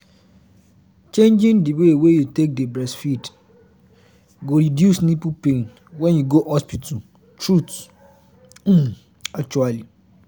changing the way wey you take dey breastfeed go reduce nipple pain when you go hospital truth um actually